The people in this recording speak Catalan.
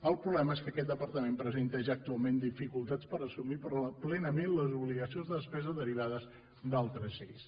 el problema és que aquest departament presenta ja actualment dificultats per assumir plenament les obligacions de despesa derivades d’altres lleis